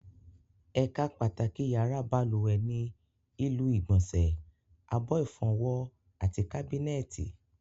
Ẹ̀ka pàtàkì yàrá balùwẹ̀ ni ilu ìgbọ̀nsẹ̀, abọ́ ìfọwọ́, àti kábínẹ̀tì